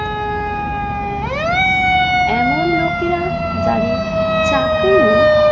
এমন লোকেরা যাদের চাকরী নেই